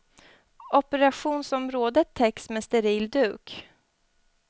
Operationsområdet täcks med en steril duk.